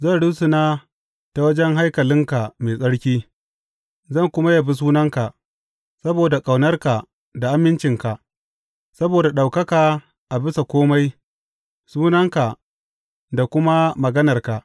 Zan rusuna ta wajen haikalinka mai tsarki zan kuma yabi sunanka saboda ƙaunarka da amincinka, saboda ka ɗaukaka a bisa kome sunanka da kuma maganarka.